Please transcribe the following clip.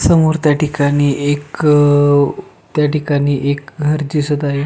समोर त्या ठिकाणी एक त्या ठिकाणी एक घरं दिसत आहे.